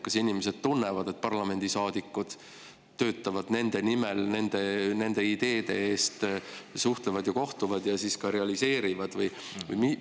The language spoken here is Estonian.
Kas inimesed tunnevad, et parlamendiliikmed töötavad nende nimel, nende ideede eest, suhtlevad ja kohtuvad ja ka realiseerivad?